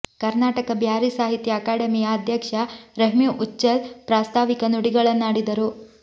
ಕರ್ನಾಟಕ ಬ್ಯಾರಿ ಸಾಹಿತ್ಯ ಅಕಾಡೆಮಿಯ ಅಧ್ಯಕ್ಷ ರಹೀಂ ಉಚ್ಚಿಲ್ ಪ್ರಾಸ್ತಾವಿಕ ನುಡಿಗಳನ್ನಾಡಿದರು